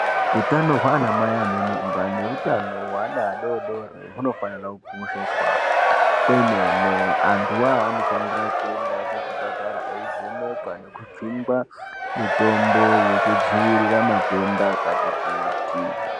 Utano hwaanamai anemimba neutano hweana adoodori hunofanira kukosheswa kwemene. Antu awawo anofanira kuenda kuzvipatara eivhenekwa nekujungwa mitombo yekudzivirira matenda akati kuti.